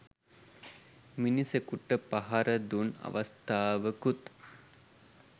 මිනිසකුට පහරදුන් අවස්ථාවකුත්